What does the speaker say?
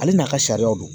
Ale n'a ka sariya don